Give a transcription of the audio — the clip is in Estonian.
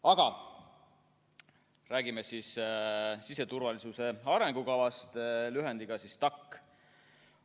Aga räägime siis siseturvalisuse arengukavast, lühendiga STAK.